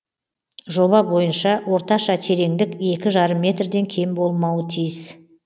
жоба бойынша орташа тереңдік екі жарым метрден кем болмауы тиіс